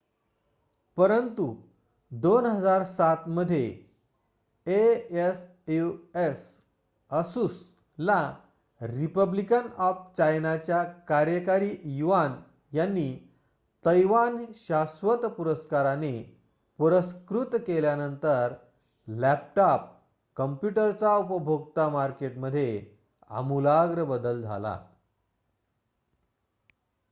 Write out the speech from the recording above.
परंतु 2007 मध्ये asus ला रिपब्लिक ऑफ चायनाच्या कार्यकारी युआन यांनी तैवान शाश्वत पुरस्काराने पुरस्कृत केल्यानंतर लॅपटॉप कम्प्युटरच्या उपभोक्ता मार्केटमध्ये आमूलाग्र बदल झाला